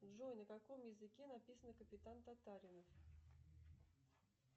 джой на каком языке написана капитан татаринов